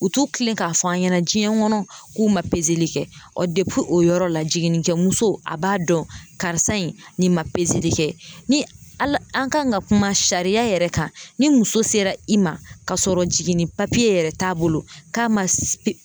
U t'u tilen k'a fɔ an ɲɛna diɲɛ kɔnɔ, k'u ma kɛ ɔ o yɔrɔ la jiginnikɛmuso a b'a dɔn karisa in ni ma kɛ ni ala , an kan ka kuma sariya yɛrɛ kan ,ni muso sera i ma k'a sɔrɔ jiginni yɛrɛ t'a bolo k'a ma